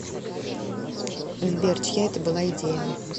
сбер чья это была идея